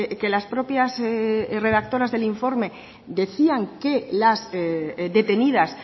que las propias redactoras del informe decían que las detenidas